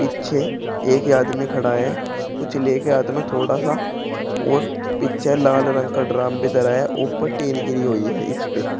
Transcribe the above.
पीछे एक ही आदमी खड़ा है कुछ ले के हाथ में थोड़ा सा और पीछे लाल रंग का ड्रम भी धरा है ऊपर टीन घिरी हुई है इस पे।